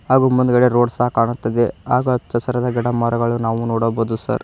ಹಾಗೂ ಮುಂದ್ಗಡೆ ರೋಡ್ ಸಹ ಕಾಣುತ್ತವೆ ಹಾಗು ಹಚ್ಚಹಸಿರದ ಗಿಡಮರಗಳು ನಾವು ನೋಡಬಹುದು ಸರ್ .